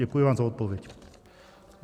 Děkuji vám za odpověď.